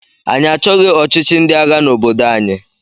Anyị achọghị ọchịchị ndị agha n'obodo anyị.